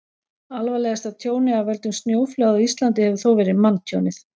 alvarlegasta tjónið af völdum snjóflóða á íslandi hefur þó verið manntjónið